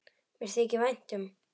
Mér þykir vænt um